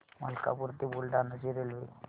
मलकापूर ते बुलढाणा ची रेल्वे